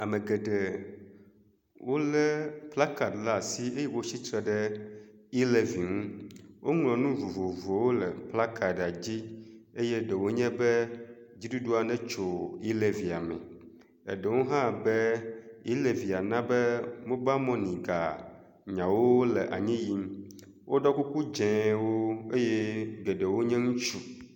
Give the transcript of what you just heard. Ame geɖe wolé plakad le asi eye wotsi tre E levi ŋu. woŋlɔ nu vovovowo le plakad dzi eye ɖewo nye be dziɖuɖu netso E levia me. Eɖewo hã be E levia na be mobal mɔni ganyawo le anyi yim. Woɖɔ kuku dzewo eye geɖewo nye ŋutsu.